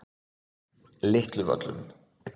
Litluvöllum